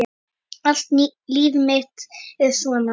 Allt líf mitt er svona!